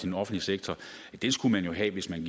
den offentlige sektor skulle man have hvis man